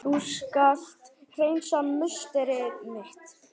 Þú skalt hreinsa musteri mitt!